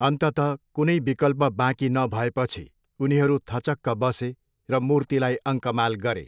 अन्ततः कुनै विकल्प बाँकी नभएपछि उनीहरू थचक्क बसे र मूर्तिलाई अङ्कमाल गरे।